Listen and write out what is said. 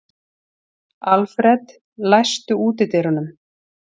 Alfred, læstu útidyrunum.